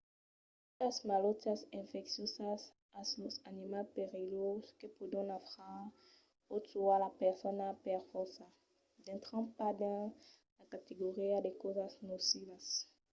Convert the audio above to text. las quitas malautiás infecciosas o los animals perilhoses que pòdon nafrar o tuar las personas per fòrça dintran pas dins la categoria de causas nocivas